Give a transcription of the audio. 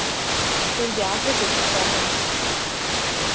Svolítið aggressívt, sagði hún.